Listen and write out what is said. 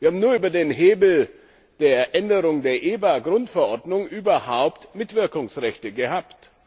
Wir haben nur über den Hebel der Änderung der EBA Grundverordnung überhaupt Mitwirkungsrechte gehabt.